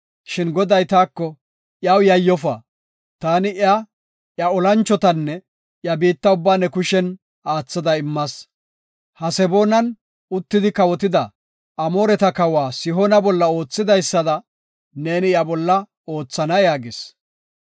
Shin Goday taako, “Iyaw yayyofa; taani iya, iya olanchotanne iya biitta ubbaa ne kushen aathada immas. Haseboonan uttidi kawotida Amooreta kawa Sihoona bolla oothidaysada neeni iya bolla oothana” yaagis.